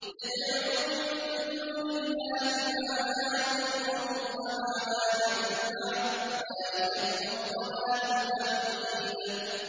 يَدْعُو مِن دُونِ اللَّهِ مَا لَا يَضُرُّهُ وَمَا لَا يَنفَعُهُ ۚ ذَٰلِكَ هُوَ الضَّلَالُ الْبَعِيدُ